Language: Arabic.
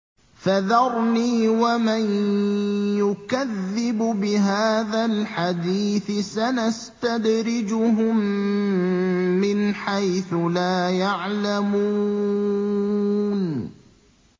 فَذَرْنِي وَمَن يُكَذِّبُ بِهَٰذَا الْحَدِيثِ ۖ سَنَسْتَدْرِجُهُم مِّنْ حَيْثُ لَا يَعْلَمُونَ